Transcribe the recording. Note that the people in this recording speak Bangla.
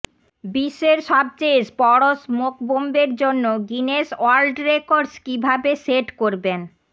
বিশ্বের সবচেয়ে বড় স্মোক বম্বের জন্য গিনেস ওয়ার্ল্ড রেকর্ডস কিভাবে সেট করবেন